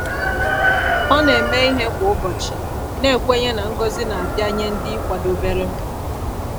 Ọ na-eme ihe kwa ụbọchị, na-ekwenye na ngọzi na-abịa nye ndị kwadobere.